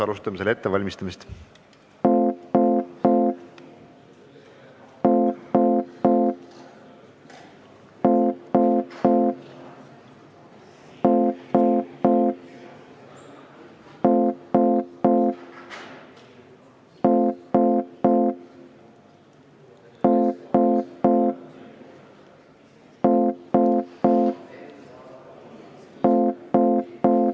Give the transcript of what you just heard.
Alustame selle ettevalmistamist.